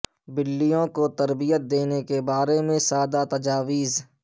بلیوں کو تربیت دینے کے بارے میں سادہ تجاویز